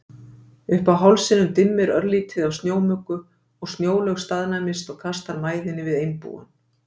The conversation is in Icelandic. Uppi á hálsinum dimmir örlítið af snjómuggu og Snjólaug staðnæmist og kastar mæðinni við Einbúann.